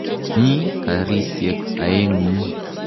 Mi karisyek aeng'u.